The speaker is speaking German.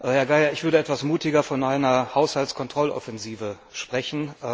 Herr Geier, ich würde etwas mutiger von einer Haushaltskontrolloffensive sprechen.